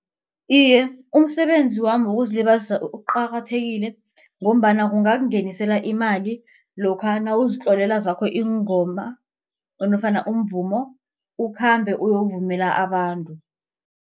Iye umsebenzi wami wokuzilibazisa uqakathekile ngombana kungakungenisela imali. Lokha nawuzitlolela zakho iingoma nofana umvumo ukhambe uyokuvumela abantu.